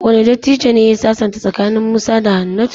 Wane dattijon ne ya sasanta tsakanin Musa da Hannatu?